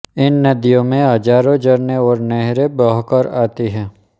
इन नदियों में हज़ारों झरने और नहरें बह कर आती हैं